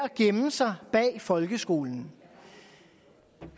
gemme sig bag folkeskolen